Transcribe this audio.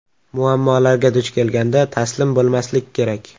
Muammolarga duch kelganda, taslim bo‘lmaslik kerak.